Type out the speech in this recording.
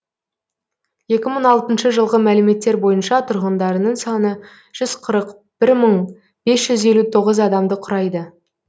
екі мың алтыншы жылғы мәліметтер бойынша тұрғындарының саны жүз қырық бір мың бес жүз елу тоғыз адамды құрайды